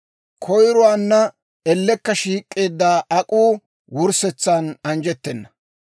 Koyruwan ellekka shiik'eedda ak'uu wurssetsan anjjettenna.